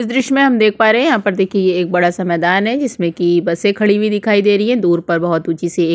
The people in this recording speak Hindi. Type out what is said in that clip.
दृश्य में हम देख पा रहे है यहाँ पर देखिए ये एक बड़ा -सा मैदान है जिसमें की बसें खड़ी हुई दिखाई दे रही है दूर पर बोहोत ऊँची- सी --